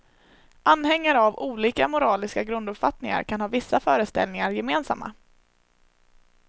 Anhängare av olika moraliska grunduppfattningar kan ha vissa föreställningar gemensamma.